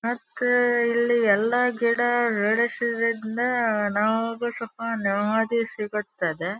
ಮತ್ತೆ ಇಲ್ಲಿ ಎಲ್ಲಾ ಗಿಡ ಬೆಳೆಸುವುದರಿಂದ ನಮಗೂ ಸ್ವಲ್ಪ ನೆಮ್ಮದಿ ಸಿಗುತ್ತದೆ.